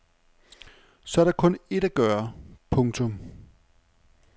Så er der kun ét at gøre. punktum